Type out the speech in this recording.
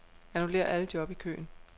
Annullér alle job i køen.